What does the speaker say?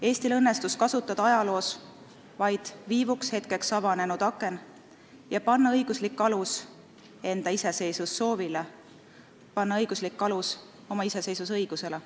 Eestil õnnestus kasutada ajaloos vaid viivuks, hetkeks avanenud akent ja panna õiguslik alus enda iseseisvussoovile, panna õiguslik alus oma iseseisvusõigusele.